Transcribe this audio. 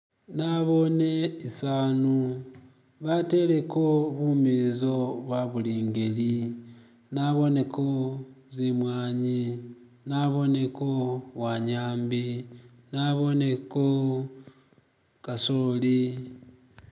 nabone isanu bateleko bumizo bwabili ngeli naboneko zimwanyi naboneko wanyambi naboneko kasoli